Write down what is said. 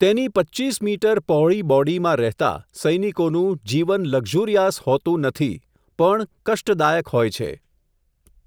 તેની પચ્ચીચ મીટર પહોળી બોડીમાં રહેતા, સૈનિકોનું જીવનલકઝુરિયાસ હોતું નથી, પણ કષ્ટદાયક હોય છે.